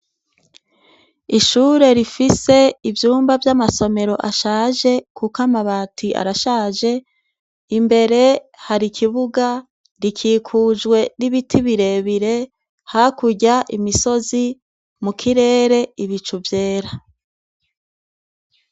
Ishure rifise ivyumba vy' amasomero ashaje kuko amabati arashaje, imbere hari ikibuga, gikikujwe n' ibiti birebire, hakurya imisozi, mu kirere ibicu vyera.